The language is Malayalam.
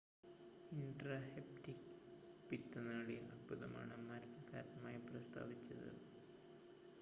ഇൻട്രാഹെപ്പറ്റിക് പിത്തനാളി അർബുദമാണ് മരണ കാരണമായി പ്രസ്താവിച്ചത്